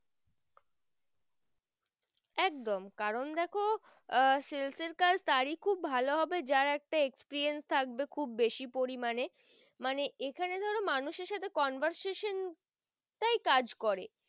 একদম কারণ দেখো আহ sells এর কাজ তারই খুব ভালো হবে যার একটা experience থাকবে খুব বেশি পরিমানে মানে এখানে ধরো মানুষের সাথে conversation তাই কাজ করে।